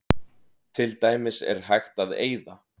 Til dæmis er hægt að eyða